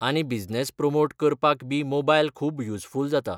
आनी business promote करपाक बी मोबायल खूब युजफूल जाता.